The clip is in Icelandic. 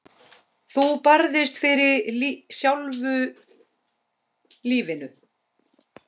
Þú barðist fyrir sjálfu lífinu.